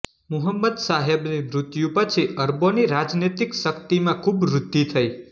મુહમ્મદ સાહેબ ની મૃત્યુ પછી અરબોનીરાજનૈતિક શક્તિમાં ખૂબ વૃદ્ધિ થઈ